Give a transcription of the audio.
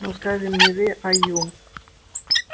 ну скажем не вы а ю